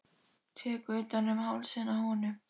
Tek utan um hálsinn á honum.